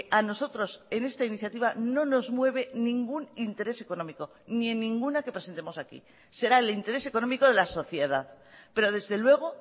a nosotros en esta iniciativa no nos mueve ningún interés económico ni en ninguna que presentemos aquí será el interés económico de la sociedad pero desde luego